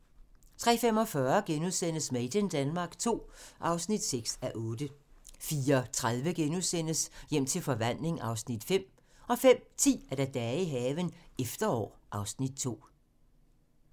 03:45: Made in Denmark II (6:8)* 04:30: Hjem til forvandling (Afs. 5)* 05:10: Dage i haven - efterår (Afs. 2)